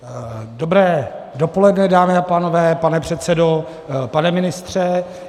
Dobré dopoledne, dámy a pánové, pane předsedo, pane ministře.